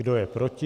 Kdo je proti?